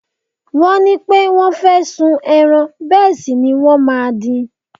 Wọ́n ní pé wọ́n fẹ́ sun ẹran bẹ́ẹ̀ sì ni wọ́n máa din.